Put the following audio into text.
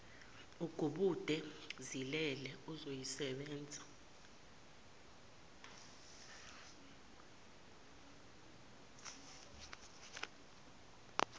agubude zilele uzoyisebenza